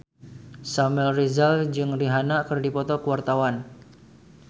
Samuel Rizal jeung Rihanna keur dipoto ku wartawan